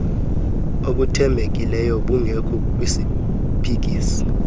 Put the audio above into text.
obuthembekileyo bungekho kwisiphikisi